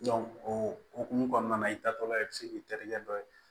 o hokumu kɔnɔna na i taatɔla i bɛ se k'i terikɛ dɔ ye